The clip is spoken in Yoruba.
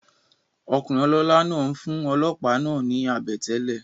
Okùnrin olólá náà n fún olòópá náà ni àbètélè